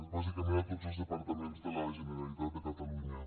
bàsicament tots els departaments de la generalitat de catalunya